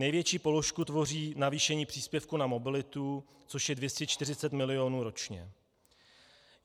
Největší položku tvoří navýšení příspěvku na mobilitu, což je 240 milionů ročně.